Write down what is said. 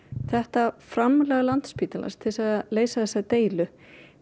þetta framlag Landspítalans til þess að leysa þessa deilu